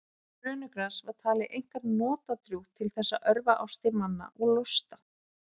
brönugras var talið einkar notadrjúgt til þess að örva ástir manna og losta